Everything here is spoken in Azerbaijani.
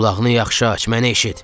Qulağını yaxşı aç, məni eşit.